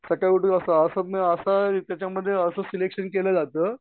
सकाळी उठून असं त्याच्यामध्ये असं सिलेक्शन केलं जातं